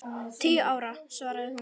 Tíu ára, svaraði hún.